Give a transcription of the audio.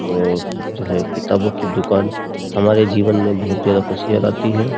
और जो है किताबों की दुकान हमारे जीवन में बहुत ज्यादा खुशियां लाती है ।